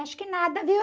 Acho que nada, viu?